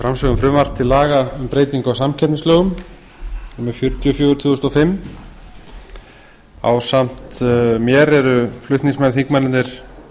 frumvarp til laga um breytingu á samkeppnislögum númer fjörutíu og fjögur tvö þúsund og fimm ásamt mér eru flutningsmenn þingmennirnir